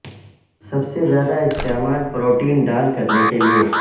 سب سے زیادہ استعمال پروٹین ڈال کرنے کے لئے